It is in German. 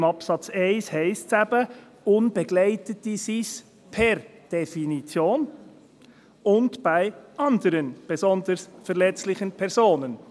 Im Absatz 1 heisst es eben, Unbegleitete seien es per Definition, «und bei anderen besonders verletzlichen Personen».